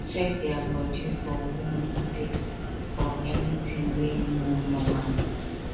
check their body for wound ticks or anything wey no normal